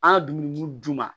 An ka dumuni d'u ma